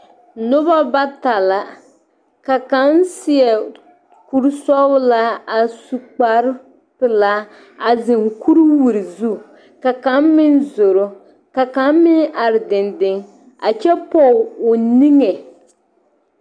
Noba bata la ka kaŋ seɛ kuruu sɔglaa a sue kparre peɛle a zeŋ kureewiree zu ka kaŋ meŋ zoroo ka kaŋ meŋ are dendeŋ kyɛ pɔŋe o niŋee.